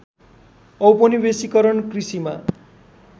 औपनिवेशीकरण कृषिमा